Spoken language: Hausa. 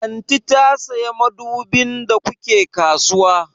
Aunty ta saya madubin da ku ke kasuwa?